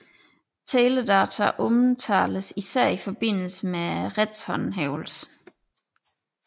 Teledata omtales især i forbindelse med retshåndhævelse